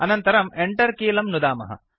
अनन्तरं Enter कीलम् नुदामः